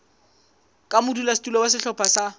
ka modulasetulo wa sehlopha sa